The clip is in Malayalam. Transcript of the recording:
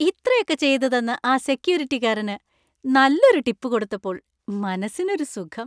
ഇത്രയൊക്കെ ചെയ്തുതന്ന ആ സെക്ക്യൂരിറ്റിക്കാരന് നല്ലൊരു ടിപ്പ് കൊടുത്തപ്പോൾ മനസ്സിനൊരു സുഖം.